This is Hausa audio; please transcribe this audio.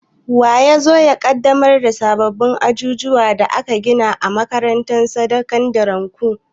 Wa ya zo ya ƙaddamar da sabbin ajujuwan da aka gina a makarantar sakandiren ku?